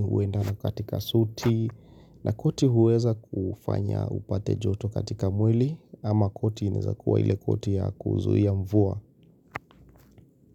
huendana katika suti na koti huweza kufanya upate joto katika mwili ama koti naweza kuwa ile koti ya kuzuia mvua.